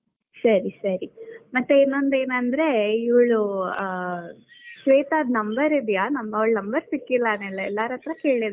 ಸರಿ, ಸರಿ ಮತ್ತೆ ಇನ್ನೊಂದೇನಂದ್ರೆ ಇವ್ಳು ಆ ಶ್ವೇತದ್ number ಇದ್ಯಾ? ನಂಗ್ ಅವಳ number ಸಿಕ್ಕಿಲ್ಲಾ ನಾನ್ ಎಲ್ಲಾರ್ ಹತ್ರಾ ಕೇಳ್ದೆ.